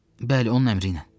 Bəli, onun əmri ilə.